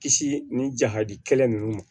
Kisi ni ja ka di kɛlɛ ninnu ma